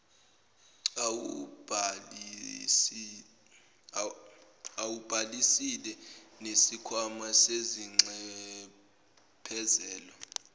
awubhalisile nesikhwama sezinxephezelo